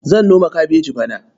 Zan noma kabeji bana.